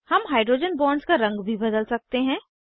हम hydrogen bonds का रंग भी बदल सकते हैं